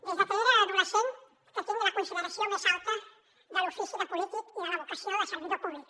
des de que era adolescent que tinc la consideració més alta de l’ofici de polític i de la vocació de servidor públic